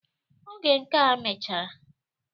Oge nke a mechara